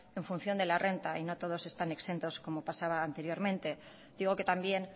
en función de la renta y no todos están exentos como pasaba anteriormente digo que también